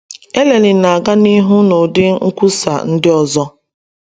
Eleni na-aga n’ihu n’ụdị nkwusa ndị ọzọ.